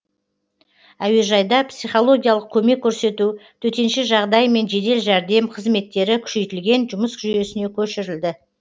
әуежайда психологиялық көмек көрсету төтенше жағдай мен жедел жәрдем қызметтері күшейтілген жұмыс жүйесіне көшірілді